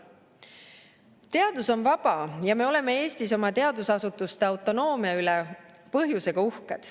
Teadus on vaba ja me oleme Eestis oma teadusasutuste autonoomia üle põhjusega uhked.